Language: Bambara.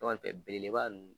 N'o tɛ belebeleba nunnu